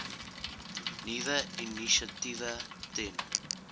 nuwe initiatiewe ten